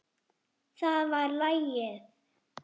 Það var lagið.